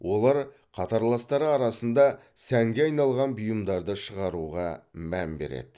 олар қатарластары арасында сәнге айналған бұйымдарды шығаруға мән береді